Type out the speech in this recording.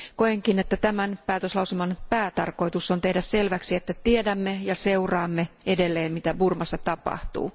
Koenkin, että tämän päätöslauselman päätarkoitus on tehdä selväksi, että tiedämme ja seuraamme edelleen mitä Burmassa tapahtuu.